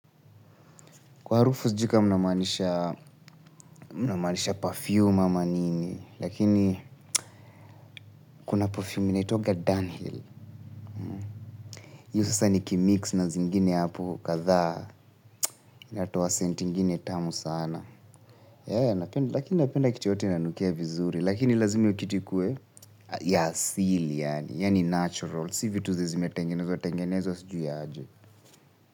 Kwa harufu sijui kama mnamaanisha, mnamaanisha perfume ama nini lakini kuna perfume inaitwangwa dunhill. Hiyo sasa nikimix na zingine hapo kadhaa, natoa senti ingine tamu sana. Lakini napenda kitu yoyote inanukia vizuri lakini lazima hiyo kitu ikuwe ya asili yaani, yaani natural si vitu zenye zimetengenezwa tengenezwa sijui aje.